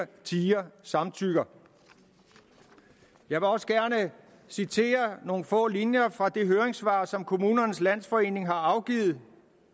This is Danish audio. tier samtykker jeg vil også gerne citere nogle få linjer fra det høringssvar som kommunernes landsforening har afgivet